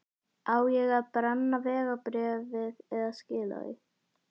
Á ég að brenna vegabréfið eða skila því?